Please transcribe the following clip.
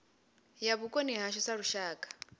ya vhukoni hashu sa lushaka